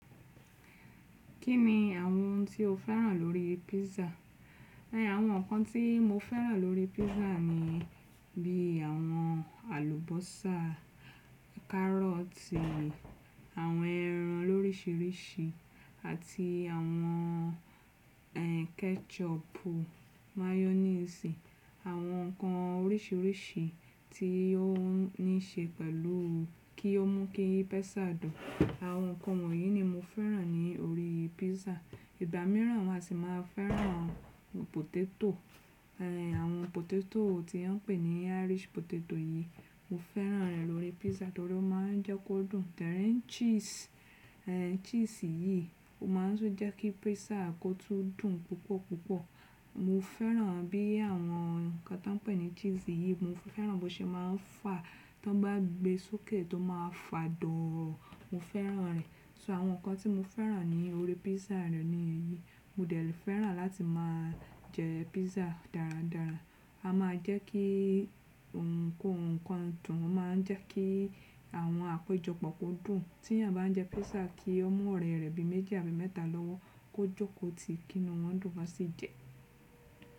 Kí ni àwọn ohun tí o féràn lórí písà? Àwọn nǹkan tí mo féràn lórí písà ni bí i àwọn àlùbọ́sà, kárọ̀tì, àwọn ẹran lórísìíríṣìí àti àwọn ketchup, mayonnaise, àwọn nǹkan orísìíríṣìí tí ó níṣe pẹ̀lú kí ó mú kí písà dùn. Àwọn nǹkan wọ̀nyí ni mo féràn ní orí písà. Ìgbà mìíràn wọn a sì máa féràn potato. Àwọn potato tí wọ́n pè ní Irish potato yìí, mo féràn rẹ̀ lórí písà torí ó máa ń jẹ́ kó dùn. Then cheese, cheese yìí ó máa ń tún jẹ́ kí písà kó tún dùn púpọ̀ púpọ̀. Mo féràn bí àwọn nǹkan tí wọ́n pè ní cheese yìí, mo féràn bó ṣe máa ń fà tó bá gbé sókè tó máa fà doro, mo féràn rẹ̀. So àwọn nǹkan tí mo féràn ní orí písà rẹ̀ ni èyí. Mo dẹ̀ fẹ́ràn láti máa jẹ písà dáradára. A máa jẹ́ kí ohunkóhun kan dùn, a máa jẹ́ kí àwọn àpéjọpọ̀ kó dùn. Tí ẹ bá ń jẹ písà kí ó mú ọ rẹ rẹbi méjì àbí mẹ́ta lọ́wọ́ kó jókòó tí kí ni wọ́n dùn lọ tí jẹ.